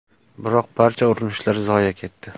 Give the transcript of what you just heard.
Biroq barcha urinishlar zoye ketdi.